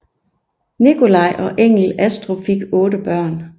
Nikolai og Engel Astrup fik otte børn